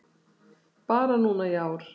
Bara núna í ár